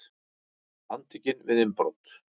Handtekinn við innbrot